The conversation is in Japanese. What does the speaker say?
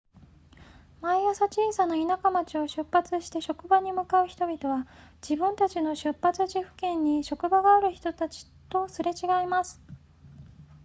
毎朝小さな田舎町を出発して職場に向かう人々は自分たちの出発地付近に職場がある人たちとすれ違います